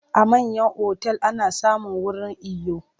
A manyan otal ana samun wurin iyo.